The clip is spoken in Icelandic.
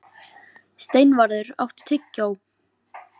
Steinvarður, áttu tyggjó?